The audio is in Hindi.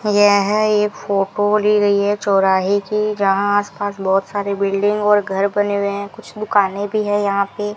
यह एक फोटो ली गई है चौराहे की जहां आसपास बहुत सारे बिल्डिंग और घर बने हुए हैं कुछ दुकानें भी है यहां पे।